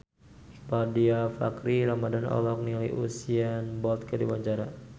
Iqbaal Dhiafakhri Ramadhan olohok ningali Usain Bolt keur diwawancara